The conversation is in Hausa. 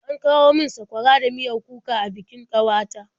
An kawo min sakwara da miyar kuka a bikin ƙawata.